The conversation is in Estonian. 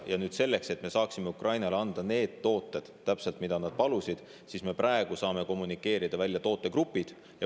Ja nüüd selleks, et me saaksime Ukrainale anda täpselt need tooted, mida nad palusid, siis me praegu saame kommunikeerida välja tootegrupid.